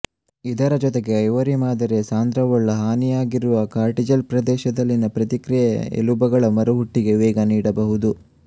ಇದರ ಜೊತೆಗೆ ಐವರಿ ಮಾದರಿಯ ಸಾಂದ್ರವುಳ್ಳ ಹಾನಿಯಾಗಿರುವ ಕಾರ್ಟಿಲೆಜ್ ಪ್ರದೇಶದಲ್ಲಿನ ಪ್ರತಿಕ್ರಿಯೆ ಎಲುಬುಗಳ ಮರುಹುಟ್ಟಿಗೆ ವೇಗ ನೀಡಬಹುದು